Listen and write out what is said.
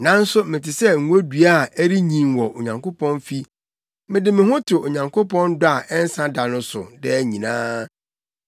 Nanso mete sɛ ngodua a ɛrenyin wɔ Onyankopɔn fi: mede me ho to Onyankopɔn dɔ a ɛnsa da no so daa nyinaa.